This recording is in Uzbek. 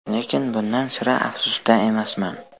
Lekin bundan sira afsusda emasman.